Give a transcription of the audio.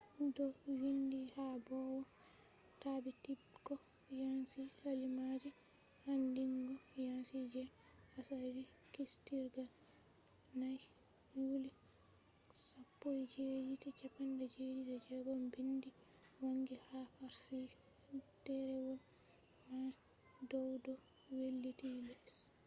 do vindi ha bawo tabbitibgo yanci kalimaaje andingo yanci je asali kiistirgal 4th yuly 1776”. bindi wangi ha karshi derewol man dow do wailiti les